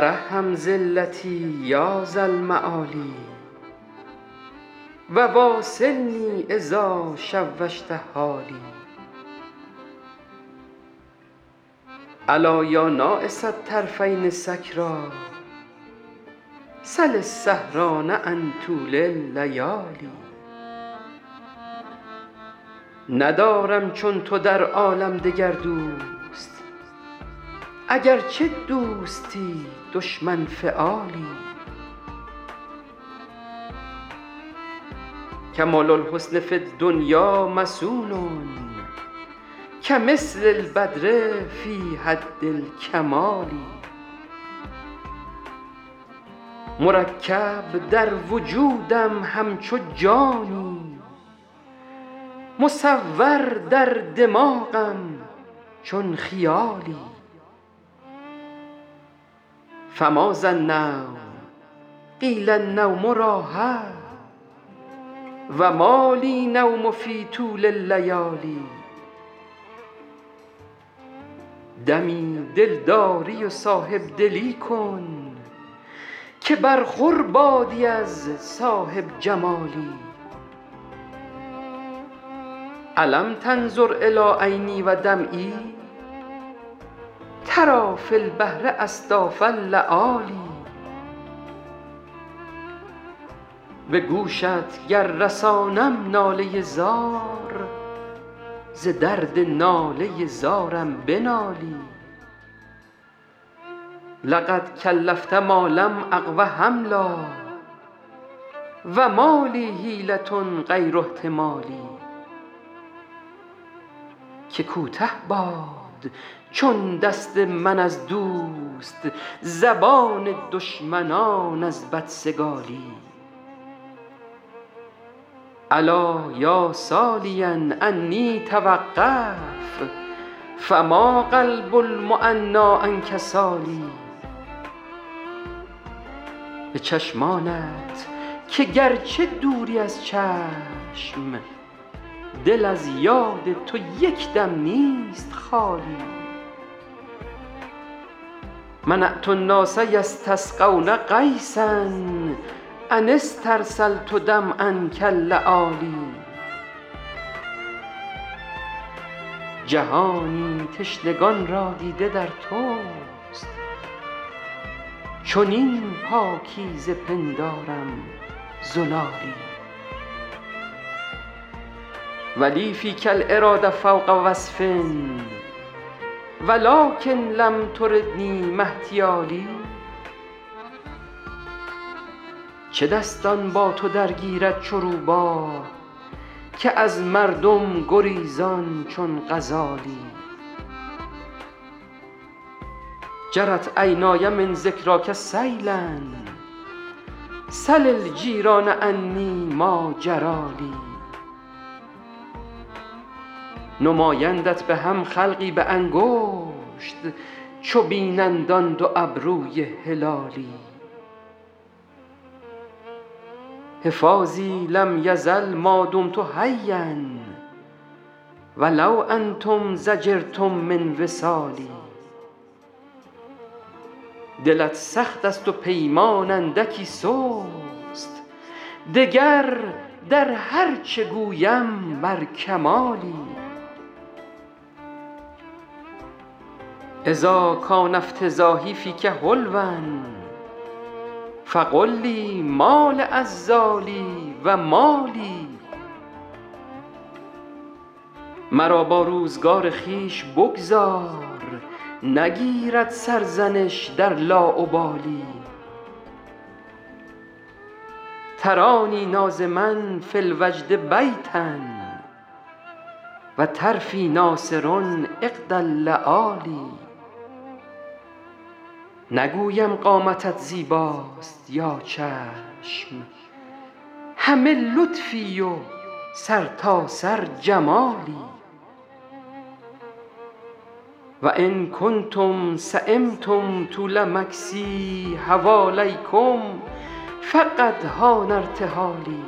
ترحم ذلتی یا ذا المعالی و واصلنی اذا شوشت حالی ألا یا ناعس الطرفین سکریٰ سل السهران عن طول اللیالی ندارم چون تو در عالم دگر دوست اگرچه دوستی دشمن فعالی کمال الحسن فی الدنیا مصون کمثل البدر فی حد الکمال مرکب در وجودم همچو جانی مصور در دماغم چون خیالی فماذا النوم قیل النوم راحه و ما لی النوم فی طول اللیالی دمی دلداری و صاحب دلی کن که برخور بادی از صاحب جمالی ألم تنظر إلی عینی و دمعی تری فی البحر أصداف اللآلی به گوشت گر رسانم ناله زار ز درد ناله زارم بنالی لقد کلفت ما لم أقو حملا و ما لی حیلة غیر احتمالی که کوته باد چون دست من از دوست زبان دشمنان از بدسگالی الا یا سالیا عنی توقف فما قلب المعنیٰ عنک سال به چشمانت که گرچه دوری از چشم دل از یاد تو یک دم نیست خالی منعت الناس یستسقون غیثا أن استرسلت دمعا کاللآلی جهانی تشنگان را دیده در توست چنین پاکیزه پندارم زلالی و لی فیک الإراده فوق وصف و لکن لم تردنی ما احتیالی چه دستان با تو درگیرد چو روباه که از مردم گریزان چون غزالی جرت عینای من ذکراک سیلا سل الجیران عنی ما جری لی نمایندت به هم خلقی به انگشت چو بینند آن دو ابروی هلالی حفاظی لم یزل ما دمت حیا و لو انتم ضجرتم من وصالی دلت سخت است و پیمان اندکی سست دگر در هر چه گویم بر کمالی اذا کان افتضاحی فیک حلوا فقل لی ما لعذالی و ما لی مرا با روزگار خویش بگذار نگیرد سرزنش در لاابالی ترانی ناظما فی الوجد بیتا و طرفی ناثر عقد اللآلی نگویم قامتت زیباست یا چشم همه لطفی و سرتاسر جمالی و ان کنتم سیمتم طول مکثی حوالیکم فقد حان ارتحالی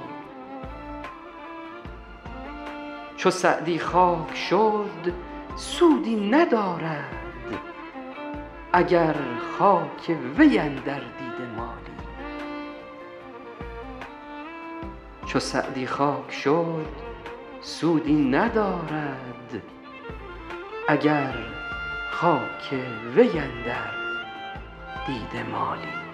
چو سعدی خاک شد سودی ندارد اگر خاک وی اندر دیده مالی